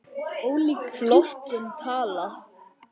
Flott tala.